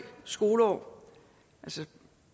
skoleår til